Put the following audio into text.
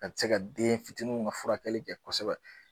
Ka se ka den fitininw ka furakɛ kɛ kosɛbɛ